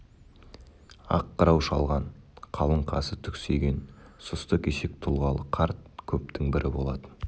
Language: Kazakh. ақ қырау шалған қалың қасы түксиген сұсты кесек тұлғалы қарт көптің бірі болатын